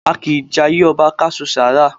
A kìí jayé ọba ká su sára.